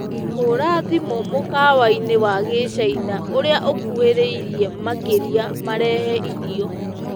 hũra thĩmũ mũkawaĩni wa gĩchĩna ũrĩa ukuhiriirie makĩrĩa marehe ĩrĩo